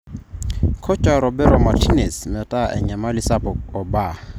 Kocha Roberto Martinez meta enyamali sapuk o baa.